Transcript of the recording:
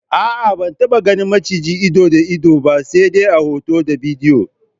A'a ban taba ganin maciji ido da ido ba se de a hoto da bidiyo.